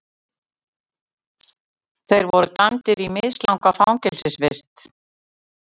Þeir voru dæmdir í mislanga fangelsisvist